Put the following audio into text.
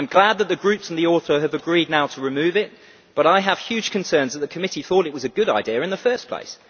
I am glad that the groups and the author have agreed now to remove it, but I have huge concerns that the committee thought it was a good idea in the first place.